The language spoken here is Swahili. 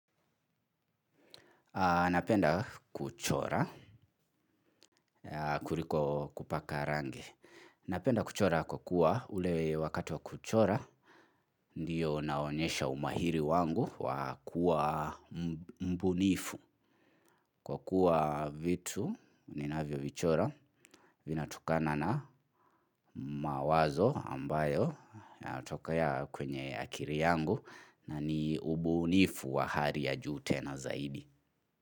Napenda kuchora, kuliko kupaka rangi. Napenda kuchora kwa kuwa ule wakati wa kuchora, ndiyo naonyesha umahiri wangu wa kuwa mbunifu. Kwa kuwa vitu, ninavyovichora, vinatokana na mawazo ambayo, yanatokea kwenye akili yangu, na ni ubunifu wa hali ya juu tena zaidi.